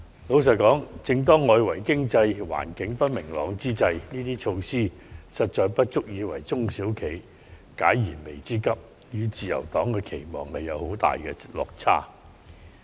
老實說，正當外圍經濟環境不明朗之際，這些措施實不足以為中小企解燃眉之急，與自由黨的期望有很大落差。